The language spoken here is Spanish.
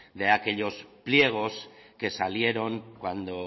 de aquellos pliegos que salieron cuando